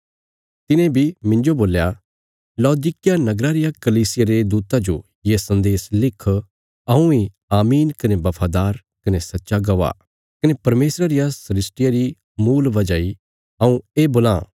तिने बी मिन्जो बोल्या लौदीकिया नगरा रिया कलीसिया रे दूता जो ये सन्देश लिख हऊँ इ आमीन कने बफादार कने सच्चा गवाह कने परमेशरा रिया सृष्टिया री मूल वजह इ हऊँ ये बोलां